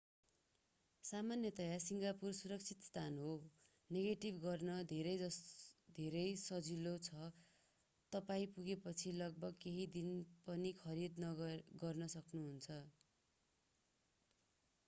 सामान्यतया सिङ्गापुर सुरक्षित स्थान हो नेभिगेट गर्न धेरै सजिलो छ र तपाईं पुगेपछि लगभग केहि पनि खरीद गर्न सक्नु हुन्छ